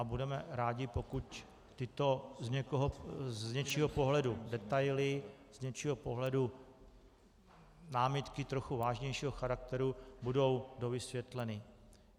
A budeme rádi, pokud tyto z něčího pohledu detaily, z něčího pohledu námitky trochu vážnějšího charakteru budou dovysvětleny.